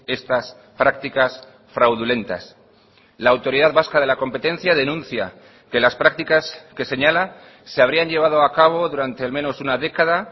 estas prácticas fraudulentas la autoridad vasca de la competencia denuncia que las prácticas que señala se habrían llevado a cabo durante al menos una década